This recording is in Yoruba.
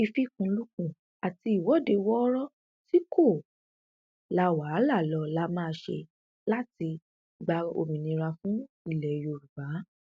ìfikùnlukùn àti ìwọde wọọrọ tí kò la wàhálà lọ la máa ṣe láti gba òmìnira fún ilẹ yorùbá